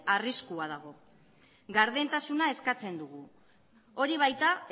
arriskua dago gardentasuna eskatzen dugu hori baita